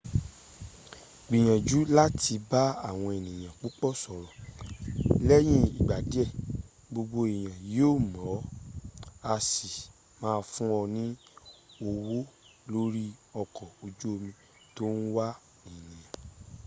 gbìyànjú láti bá àwọn ènìyàn púpọ̀ sọ̀rọ̀. lẹ́yìn ìgbà díẹ̀ gbogbo èèyàn yóò mọ̀ ọ́ á sì máa fún ọ ní ọwọ́ lórí ọkọ ojú omi ̀ tó ń wà ènìyà